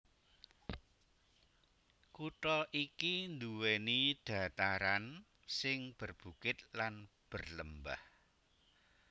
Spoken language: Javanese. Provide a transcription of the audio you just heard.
Kutha iki nduwèni dhataran sing berbukit lan berlembah